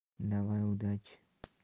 давай удачи